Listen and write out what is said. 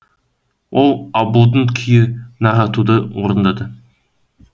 ол абылдың күйі наратуды орындады